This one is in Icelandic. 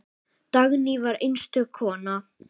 Dagný var einstök kona.